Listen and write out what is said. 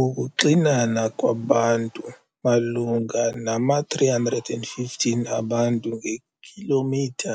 Ukuxinana kwabantu malunga nama-315 abantu ngekhilomitha